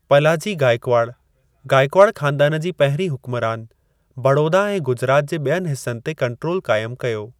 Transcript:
पलाजी गायकवाड, गायकवाड ख़ानदानु जी पहिरीं हुकुमरानु, बड़ौदा ऐं गुजरात जे ॿियनि हिस्सनि ते कंट्रोल क़ाइमु कयो।